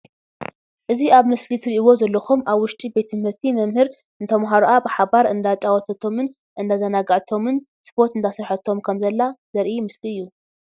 እዚ ኣብ ምስሊ ትርኢዎ ዘለኩም ኣብ ውሽጢ ቤት ትምህርቲ መምህር ንተማሃሮኣ ብሓባር እንዳጫወተቶምን እዳዛናጋዓቶምን ስፖርት እዳስረሓቶም ከምዘላ ዘርኢ ምስሊ እዩ።